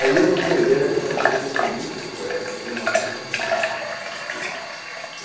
Aí eu tive a ideia de fazer um Comício Poético na Praça da Sé.